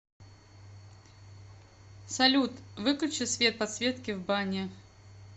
салют выключи свет подсветки в бане